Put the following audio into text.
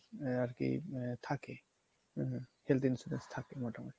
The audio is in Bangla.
আহ আর কী থাকে health insurance থাকে মোটামোটি